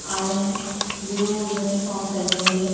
आये हैं blue uniform पहनी हुई हैं।